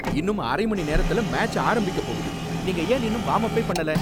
இன்னும் அரை மணி நேரத்துல மேட்ச் ஆரம்பிக்க போகுது. நீங்க ஏன் இன்னும் வார்ம் அப்பே பண்ணல?